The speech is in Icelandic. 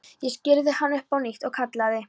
Ég skírði hann upp á nýtt og kallaði